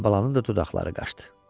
Əlibalanın da dodaqları qaçdı.